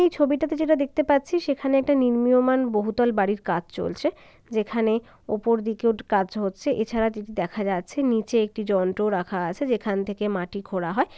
এই ছবিটিতে যেটা দেখতে পাচ্ছি সেখানে একটা নির্ণীয়মান বহুতল বাড়ির কাজ চলছেযেখানে ওপর দিকের একটু কাজ হচ্ছে। এছাড়া দেখা যাচ্ছে নিচে একটি যন্ত্র রাখা আছে যেখান থেকে মাটি খোঁড়া হয়।